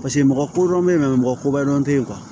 Paseke mɔgɔ kodɔn bɛ yen nɔ mɔgɔ kobadɔn tɛ ye